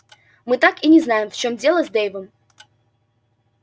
мы так и не знаем в чём дело с дэйвом